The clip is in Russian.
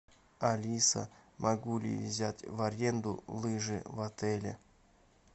алиса могу ли я взять в аренду лыжи в отеле